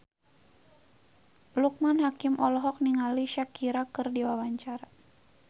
Loekman Hakim olohok ningali Shakira keur diwawancara